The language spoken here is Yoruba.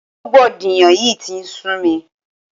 Rògbòdìyàn yìí tí ń sú mi.